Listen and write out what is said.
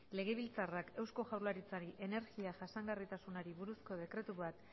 legebiltzarrak eusko jaurlaritzari energia jasangarritasunari buruzko dekretu bat